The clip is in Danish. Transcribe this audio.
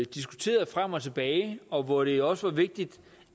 diskuterede frem og tilbage og hvor det også var vigtigt